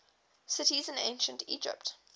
cities in ancient egypt